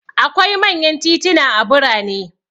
Akwai manyan tituna a birane.